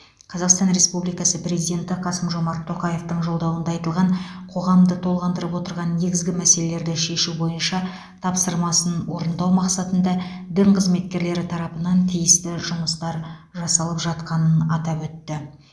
қазақстан республикасы президенті қасым жомарт тоқаевтың жолдауында айтылған қоғамды толғандырып отырған негізгі мәселелерді шешу бойынша тапсырмасын орындау мақсатында дін қызметкерлері тарапынан тиісті жұмыстар жасалып жатқанын атап өтті